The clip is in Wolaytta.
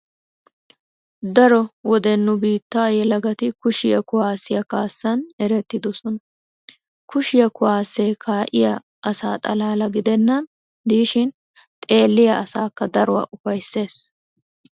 Datoto wode nu biittan yelagati kushiya kuwaassiya kaassan erettidosona. Kushiya kuwaassee kaa'iya asa xalaala gidennan diishin xeelliya asaakka daruwa ufayssees.